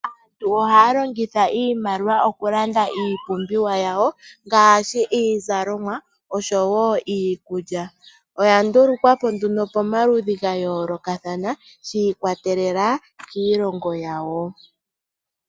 Aantu ohaya longitha iimaliwa okulanda iipumbiwa yawo ngaashi iizalomwa osho woo iikulya oya ndulukwapo nduno pomaludhi gayoolokathana shi ikwatelela kiilongo yawo.